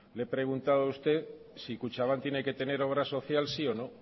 le he preguntado a usted si kutxabank tiene que tener obra social sí o no